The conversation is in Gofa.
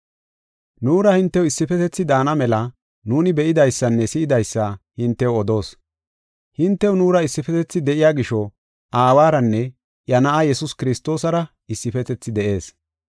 Nuura hintew issifetethi daana mela nuuni be7idaysanne si7idaysa hintew odoos. Hintew nuura issifetethi de7iya gisho, Aawaranne iya Na7aa Yesuus Kiristoosara issifetethi de7ees.